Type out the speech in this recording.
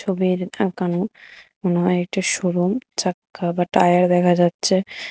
ছবিতে দেখানো মনে হয় একটা শোরুম চাক্কা বা টায়ার দেখা যাচ্ছে।